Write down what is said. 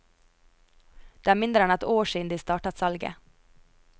Det er mindre enn ett år siden de startet salget.